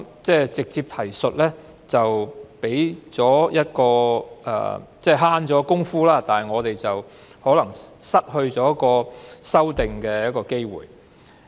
直接提述可以節省工夫，但卻有可能失去提出修訂的機會。